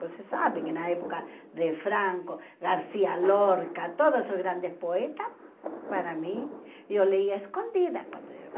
Você sabe que na época de Franco, Garcia Lorca, todos os grandes poetas, para mim, eu lia escondida quando eu